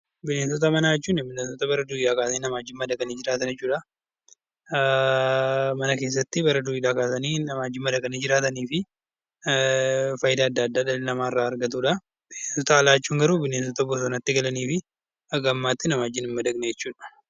Bineensota manaa jechuun bineensota bara durii kaasee nama waliin madaqanii jiraatan jechuudha. Mana keessatti bara duriirraa kaasanii nama wajjin madaqanii jiraatanii fi fayidaa adda addaa dhalli namaa irraa argatudha. Bineensota alaa jechuun garuu bineensota alatti galanii fi haga ammaatti nama wajjin hin madaqne jechuudha.